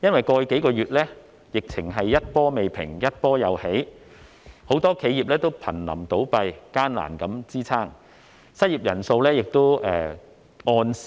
過去數月，疫情一波未平，一波又起，很多企業都瀕臨倒閉，艱難支撐，失業人數逐月攀升。